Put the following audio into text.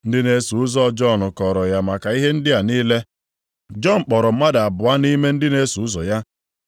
Ndị na-eso ụzọ Jọn kọọrọ ya maka ihe ndị a niile. Jọn kpọrọ mmadụ abụọ nʼime ndị na-eso ụzọ ya,